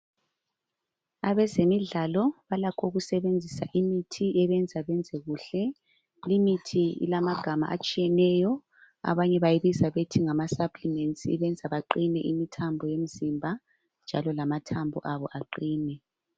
Abezemidlalo balakho ukusebenzisa imithi ebenza benze kuhle. Limithi ilamagama atshiyeneyo abanye bayibiza ngokuthi ngama supplements ibenza baqine imithambo yomzimba njalo lamathambo abo aqine.